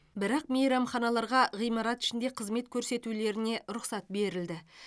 бірақ мейрамханаларға ғимарат ішінде қызмет көрсетулеріне рұқсат берілді